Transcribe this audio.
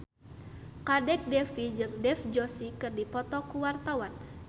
Kadek Devi jeung Dev Joshi keur dipoto ku wartawan